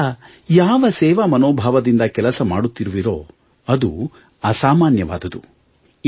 ನೀವೆಲ್ಲ ಯಾವ ಸೇವಾ ಮನೋಭಾವದಿಂದ ಕೆಲಸ ಮಾದುತ್ತಿರುವಿರೋ ಅದು ಅಸಾಮಾನ್ಯವಾದುದು